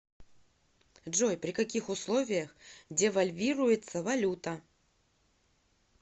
джой при каких условиях девальвируется валюта